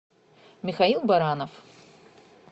михаил баранов